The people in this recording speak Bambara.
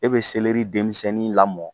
E be denmisɛnnin lamɔ